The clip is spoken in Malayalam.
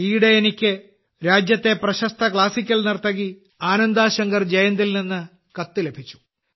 ഈയിടെ എനിക്ക് രാജ്യത്തെ പ്രശസ്ത ക്ലാസിക്കൽ നർത്തകി ആനന്ദാ ശങ്കർ ജയന്തിൽ നിന്ന് ഒരു കത്ത് ലഭിച്ചു